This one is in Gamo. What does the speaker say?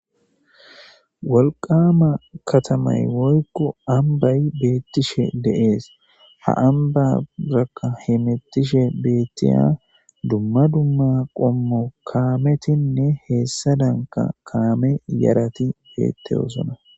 Walqama katamay woykko ambay beettishe de7ees ha amba raqa himettishe beettiya dumma dumma qommo kaametinne heessa danka kaame yarati beetteyosona.